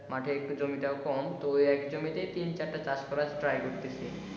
মাঠে একটু জমি টাও কম তো ওই এক জমি তেই তিন চারটা চাষ করার try করতিছি